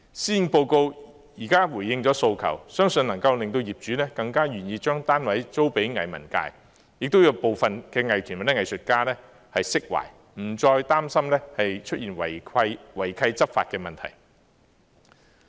施政報告現在回應了訴求，相信能夠令業主更願意將單位租給藝文界，亦讓部分藝團或藝術家釋懷，不再擔心出現違契執法的問題。